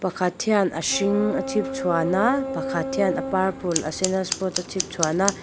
pakhat hian a hring a chhipchhuan a pakhat hian a purple a sen a spot a chhipchhuan a.